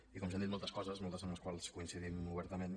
i com que s’han dit moltes coses moltes en les quals coincidim obertament